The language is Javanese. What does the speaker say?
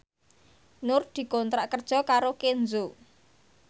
Nur dikontrak kerja karo Kenzo